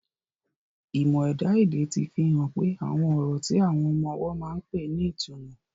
Ìmọ̀ ẹ̀dá-èdè ti fi hàn pé àwọn ọ̀rọ̀ tí àwọn ọmọ ọwọ́ máa ń pè ní ìtumọ̀.